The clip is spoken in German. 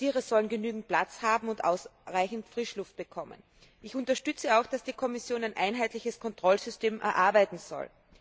Die Tiere sollen genügend Platz haben und ausreichend Frischluft bekommen. Ich unterstütze auch, dass die Kommission ein einheitliches Kontrollsystem erarbeiten soll.